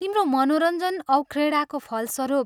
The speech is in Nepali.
तिम्रो मनोरञ्जन औ क्रीडाको फलस्वरूप